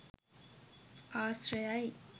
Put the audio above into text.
ආශ්‍රයයි.